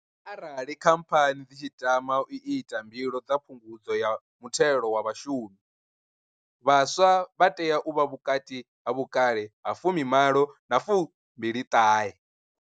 Arali Khamphani dzi tshi tama u ita mbilo dza Phungudzo ya Muthelo wa Vhashumi, vhaswa vha tea u vha vhukati ha vhukale ha fumi malo na fumbili ṱahe.